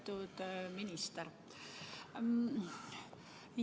Lugupeetud minister!